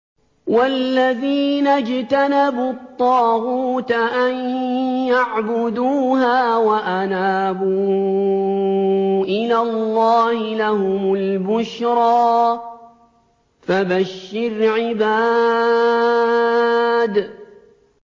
وَالَّذِينَ اجْتَنَبُوا الطَّاغُوتَ أَن يَعْبُدُوهَا وَأَنَابُوا إِلَى اللَّهِ لَهُمُ الْبُشْرَىٰ ۚ فَبَشِّرْ عِبَادِ